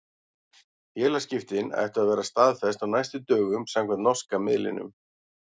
Félagsskiptin ættu að verða staðfest á næstu dögum samkvæmt norska miðlinum.